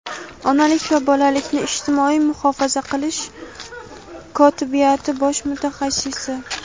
onalik va bolalikni ijtimoiy muhofaza qilish kotibiyati bosh mutaxassisi;.